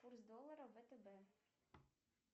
курс доллара втб